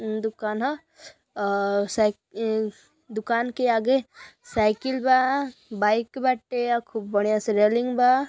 मम्म दुकान ह अअ सा अ दुकान के आगे साइकिल बा बाइक बाटे खूब बढ़िया से रेलिंग बा।